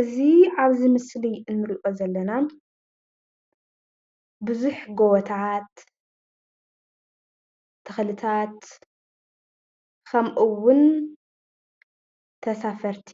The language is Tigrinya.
እዚ ኣብዚ ምስሊ እንሪኦ ዘለና ብዙሕ ጎቦታት፣ ተኽልታት ከምኡውን ተሳፈርቲ